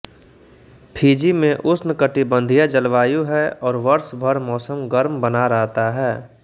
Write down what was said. Fiji में उष्णकटिबंधीय जलवायु है और वर्ष भर मौसम गर्म बना रहता है